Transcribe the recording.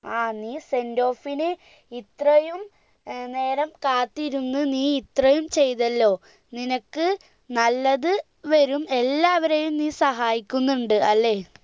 ആ നീ sendoff ന് ഇത്രയും നേരം കാത്തിരുന്ന് നീ ഇത്രയും ചെയ്തല്ലോ നിനക്ക് നല്ലത് വേരും എല്ലാവരെയും നീ സഹായിക്കുന്നുണ്ട് അല്ലെ